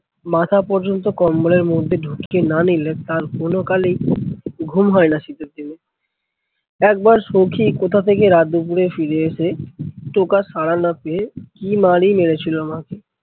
মাথা পর্যন্ত কম্বলের মধ্যে ঢুকিয়ে না নিলে তার কোনো কালে ঘুম হয়না শীতের দিনে। একবার সৌখী কোথা থেকে রাত দুপুরে ফিরে এসে টোকার সাড়া না পেয়ে কি মারই মেরেছিলো আমাকে।